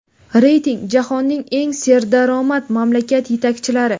Reyting: Jahonning eng serdaromad mamlakat yetakchilari.